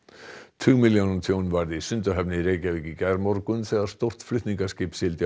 tugmilljóna tjón varð í Sundahöfn í Reykjavík í gærmorgun þegar stórt flutningaskip sigldi á